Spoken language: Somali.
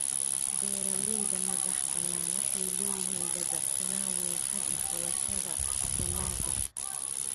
Beeralayda madaxbannaan waxay leeyihiin dabacsanaan weyn xagga xulashada dalagga.